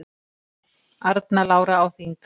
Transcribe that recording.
Arna Lára á þing